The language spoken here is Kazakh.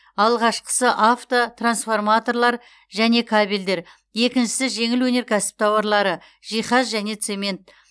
алғашқысы авто трансформаторлар және кабельдер екіншісі жеңіл өнеркәсіп тауарлары жиһаз және цемент